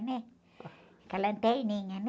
né? Com a lanterninha, né?